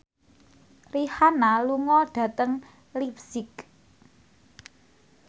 Rihanna lunga dhateng leipzig